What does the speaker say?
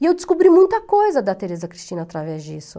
E eu descobri muita coisa da Teresa Cristina através disso.